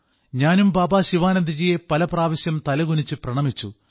ഞാനും ബാബാ ശിവാനന്ദ്ജിയെ പലപ്രാവശ്യം തലകുനിച്ച് പ്രണമിച്ചു